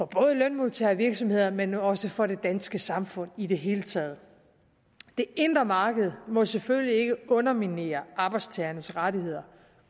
bare lønmodtagere og virksomheder men også for det danske samfund i det hele taget det indre marked må selvfølgelig ikke underminere arbejdstagernes rettigheder